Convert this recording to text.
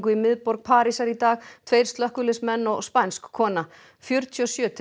í miðborg Parísar í dag tveir slökkviliðsmenn og spænsk kona fjörtíu og sjö til